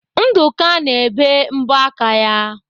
Nduka na-ebe mbọ aka ya.